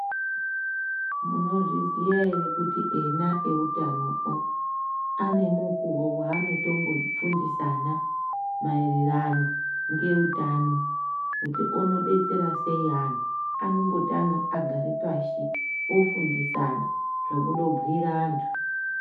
Munozviziya ere kuti ena eutano o ane mukuwo waanotombofundisana maererano neutano kuti unodetsera sei anhu anondota ga agare pashi ofundisana zvekundobhuire antu.